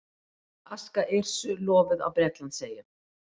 Aska Yrsu lofuð á Bretlandseyjum